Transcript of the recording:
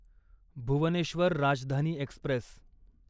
Bhubaneswar Rajdhani Express